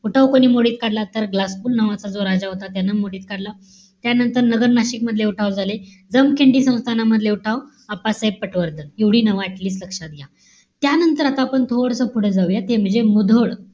उठाव कोणी मोडीत काढला? तर ग्लासपूल नावाचा जो राजा होता त्यानं मोडीत काढला. त्यानंतर, नगर-नाशिक मधले उठाव झाले. जमखिंडी संस्थानामधले उठाव, अप्पासाहेब पटवर्धन. एवढी नावं at least लक्षात घ्या. त्यानंतर, आता आपण थोडंसं पुढे जाऊय. ते म्हणजे मुधोळ.